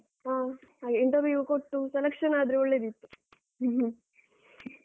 ಹ ಹಾಗೆ interview ಕೊಟ್ಟು selection ಆದ್ರೆ ಒಳ್ಳೆದಿತ್ತು.